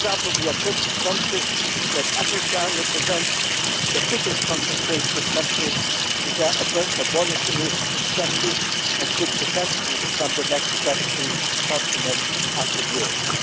For example, we are conscious that Africa represents the biggest concentration of countries which are abolitionist in practice, and it could potentially become the next death free continent after Europe.